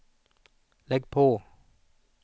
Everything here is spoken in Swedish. lägg på